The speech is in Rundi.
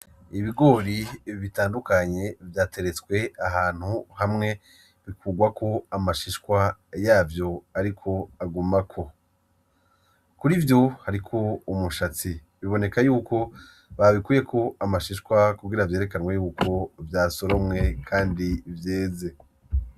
Ibigori bitandukanye vyateretswe ahantu hamwe bikugwako amashishwa yavyo ariko agumako. kurivyo Hariko umushatsi biboneka yuko babikuyeko mashishwa kugira vyerekanwe yuko vyasoromwe Kandi vyeze.